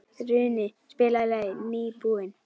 Runi, spilaðu lagið „Nýbúinn“.